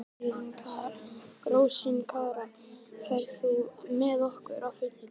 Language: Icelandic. Rósinkara, ferð þú með okkur á fimmtudaginn?